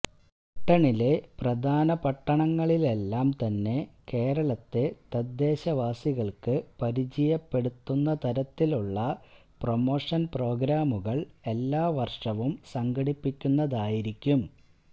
ബ്രിട്ടണിലെ പ്രധാന പട്ടണങ്ങളിലെല്ലാം തന്നെ കേരളത്തെ തദ്ദേശവാസികള്ക്ക് പരിചയപ്പെടുത്തുന്ന തരത്തിലുള്ള പ്രമോഷന് പ്രോഗ്രാമുകള് എല്ലാ വര്ഷവും സംഘടിപ്പിക്കുന്നതായിരിക്കും